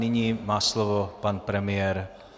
Nyní má slovo pan premiér.